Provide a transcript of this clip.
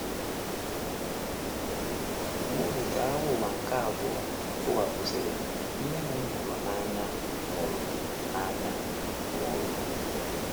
Nwa oge ka Agha Ụwa nke Abụọ tiwapụsịrị, nne m m hụrụ n’anya nwụrụ. n’anya nwụrụ.